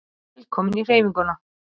Velkomin í Hreyfinguna